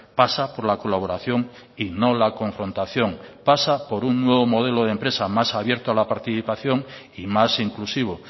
pasa por la colaboración y no la confrontación pasa por un nuevo modelo de empresa más abierto a la participación y más inclusivo